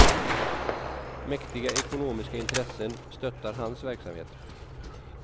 Mäktiga ekonomiska intressen stöttar hans verksamhet.